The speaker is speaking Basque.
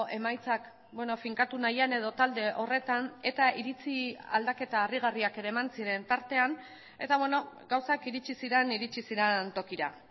emaitzak finkatu nahian edo talde horretan eta iritzi aldaketa harrigarriak ere eman ziren tartean eta gauzak iritsi ziren iritsi ziren tokira